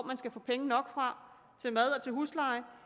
man skal få penge nok til mad og til husleje